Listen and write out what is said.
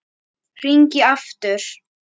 Hringi aftur!